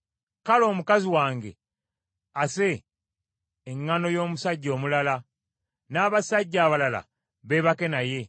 kale omukazi wange ase eŋŋaano y’omusajja omulala, n’abasajja abalala beebake naye.